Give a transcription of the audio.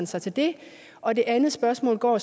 sig til det og det andet spørgsmål går